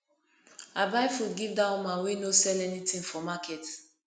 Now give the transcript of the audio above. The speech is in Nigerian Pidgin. i buy food give dat woman wey no sell anytin for market